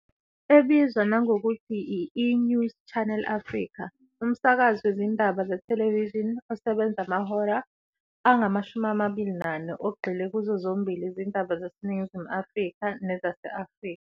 Ebizwa nangokuthi i-eNews Channel Africa. Umsakazi wezindaba zethelevishini osebenza amahora angama-24 ogxile kuzo zombili izindaba zaseNingizimu Afrika nezase-Afrika.